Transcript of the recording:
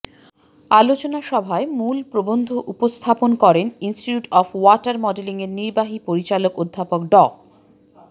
আলোচনা সভায় মূল প্রবন্ধ উপস্থাপন করেন ইনস্টিটিউট অব ওয়াটার মডেলিংয়ের নির্বাহী পরিচালক অধ্যাপক ড